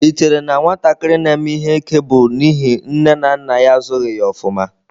Ị chere na nwatakịrị na-eme ihe ike bụ n'ihi nne na nna ya azụghị ya ofuma?